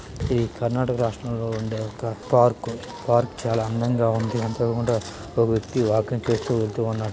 ఇది కర్ణాటక రాష్ట్రం లో వుండే ఒక పార్క్ పార్క్ చాల అందంగా వుంది కూడ ఓ వ్యక్తి వాకింగ్ చేస్తూ వెళ్తూ ఉన్నాడు.